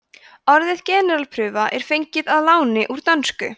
orðið generalprufa er fengið að láni úr dönsku